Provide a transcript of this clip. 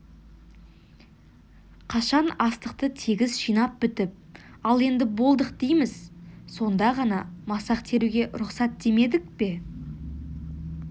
қашан астықты тегіс жинап бітіп ал енді болдық дейміз сонда ғана масақ теруге рұқсат демедік пе